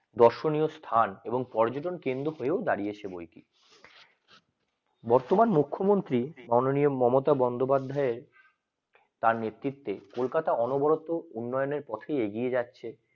দর্শনীয় স্থান এবং যদিও কেন্দ্র খেতেও দাড়িয়েছে বইটি বর্তমান মুখ্যমন্ত্রী মাননীয় মমতা বন্দ্যোপাধ্যায় তার নেতৃত্বে কলকাতা অনবরত উন্নয়নের পথে এগিয়ে যাচ্ছি